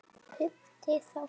Fimmti þáttur